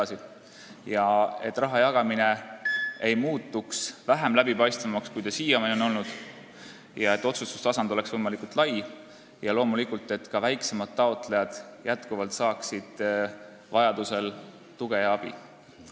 Loodan, et raha jagamine ei muutu vähem läbipaistvaks, kui see siiani on olnud, et otsustustasand on võimalikult lai ja loomulikult, et ka väiksemad taotlejad saavad endiselt tuge ja abi.